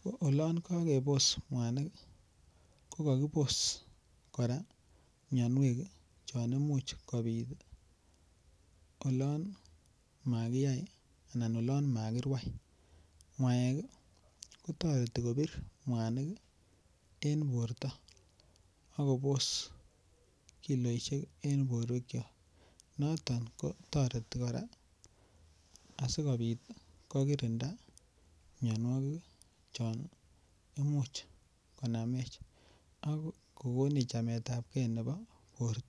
Ko ilon kakepos mwanik ko kakipos kora mianwek chon imuch kobit olon makiyai anan olon makirwai. Kotoreti kopir mwaniken porymta akopos kiloinik eng porwekchok. Noton kotoreti kora asi kokirinda mianwagik che imuch konamech ak kikinech chametapkei nebo porta.